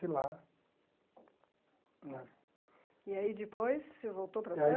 De lá né. E aí depois você voltou para Santo?